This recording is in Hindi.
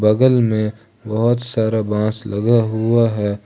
बगल में बहोत सारा बांस लगा हुआ है।